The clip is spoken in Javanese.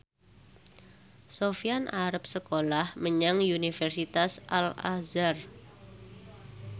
Sofyan arep sekolah menyang Universitas Al Azhar